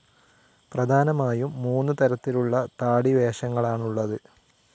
പ്രധാനമായും മൂന്ന് തരത്തിലുള്ള താടി വേഷങ്ങളാണുള്ളത്.